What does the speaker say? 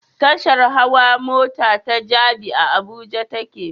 Tashar hawa mota ta Jabi, a Abuja take